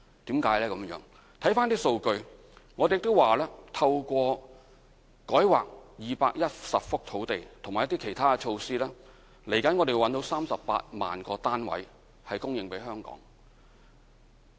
看看一些數據：我們透過改劃210幅土地和其他措施，未來可以找到供應38萬個單位的土地給香港。